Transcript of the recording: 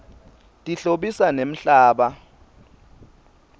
tihlobisa nemhlaba